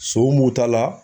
Son mun ta la